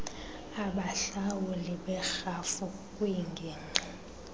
abahlawuli berhafu kwingingqi